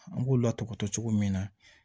An k'u lataatɔ cogo min na